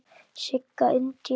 Sigga Indía.